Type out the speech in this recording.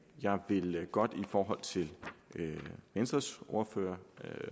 jeg vil godt i forhold til venstres ordfører